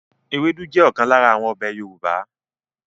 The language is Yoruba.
Ewédú jẹ́ ọ̀kan lára àwọn ọbẹ̀ Yorùbá